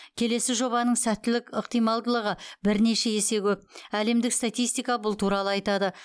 келесі жобаның сәттілік ықтималдығы бірнеше есе көп әлемдік статистика бұл туралы айтады